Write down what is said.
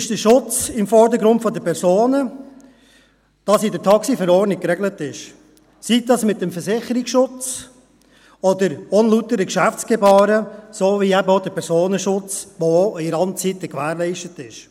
Für uns ist der Schutz der Personen im Vordergrund, wie es in der TaxiV geregelt ist, sei dies mit dem Versicherungsschutz oder unlauteren Geschäftsgebaren, so wie eben auch der Personenschutz, der auch in Randzeiten gewährleistet ist.